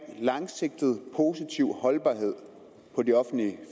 langsigtet positiv holdbarhed på de offentlige